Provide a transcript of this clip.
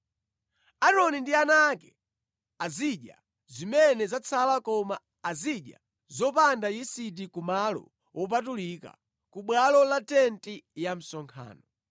Aaroni ndi ana ake azidya zimene zatsala koma azidya zopanda yisiti ku malo wopatulika, ku bwalo la tenti ya msonkhano.